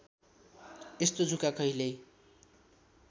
यस्तो जुका कहिल्यै